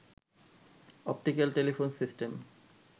optical telephone system